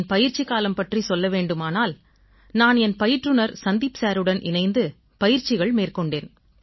என் பயிற்சிக்காலம் பற்றிச் சொல்ல வேண்டுமானால் நான் என் பயிற்றுநர் சந்தீப் சாருடன் இணைந்து பயிற்சிகள் மேற்கொண்டேன்